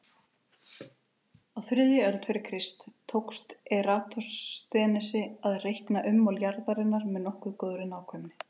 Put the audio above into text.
Á þriðju öld fyrir Krist tókst Eratosþenesi að reikna ummál jarðarinnar með nokkuð góðri nákvæmni.